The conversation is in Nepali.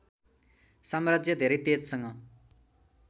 साम्राज्य धेरै तेजसँग